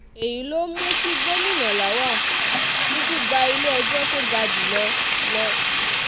èyí ló mú kí gómìnà um lawal kúkú gba ilé-ẹjọ́ tó um ga jù lọ lọ